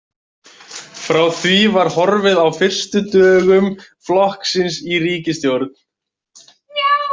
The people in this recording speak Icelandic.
Frá því var horfið á fyrstu dögum flokksins í ríkisstjórn.